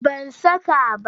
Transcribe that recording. Ban saka ba.